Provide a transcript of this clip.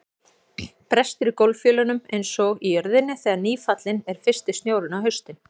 Brestur í gólffjölunum einsog í jörðinni þegar nýfallinn er fyrsti snjórinn á haustin.